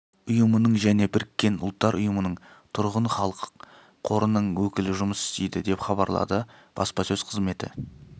ұйымының және біріккен ұлттар ұйымының тұрғын халық қорының өкілі жұмыс істейді деп хабарлады баспасөз қызметі